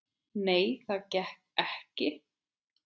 Nei, það gekk ekki.